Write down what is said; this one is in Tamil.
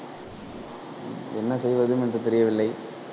என்ன செய்வது என்று தெரியவில்லை